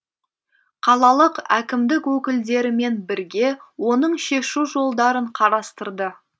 қалалық әкімдік өкілдерімен бірге оның шешу жолдарын қарастырды